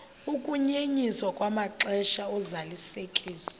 ukunyenyiswa kwamaxesha ozalisekiso